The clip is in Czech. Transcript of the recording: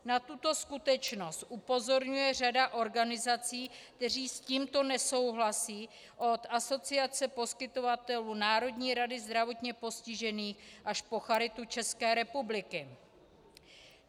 Na tuto skutečnost upozorňuje řada organizací, které s tímto nesouhlasí, od Asociace poskytovatelů, Národní rady zdravotně postižených až po Charitu České republiky.